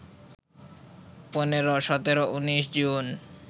১৫, ১৭, ১৯ June